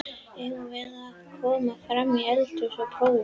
Eigum við að koma fram í eldhús og prófa?